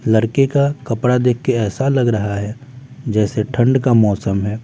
लड़के का कपड़ा देख के ऐसा लग रहा है जैसे ठंड का मौसम है।